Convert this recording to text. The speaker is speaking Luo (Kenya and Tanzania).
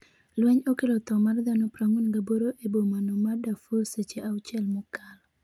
lweny okelo tho mar dhano 48 e bomano ma Darfur seche auchiel mokalo